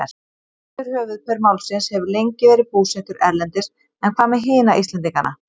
Meintur höfuðpaur málsins hefur lengi verið búsettur erlendis en hvað með hina Íslendingana?